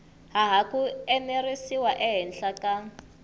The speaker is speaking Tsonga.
hava ku enerisiwa ehenhla ka